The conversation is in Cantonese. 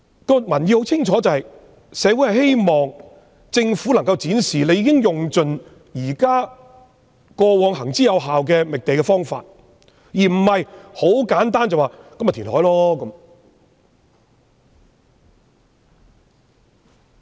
社會人士認為，政府理應盡用過往行之有效的覓地方法，而不是簡單一句便推行填海計劃。